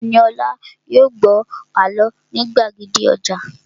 Ẹniolá yóò gbọ́ àlọ́ ní gbàgede ọjà